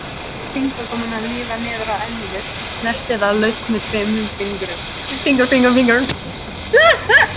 Lét fingurgómana líða niður að enninu, snerti það laust með tveimur fingrum.